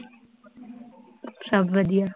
ਅੱਛਾ, ਵਧੀਆ